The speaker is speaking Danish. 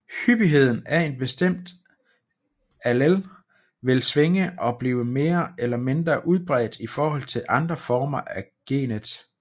Hyppigheden af en bestemt allel vil svinge og blive mere eller mindre udbredt i forhold til andre former af genet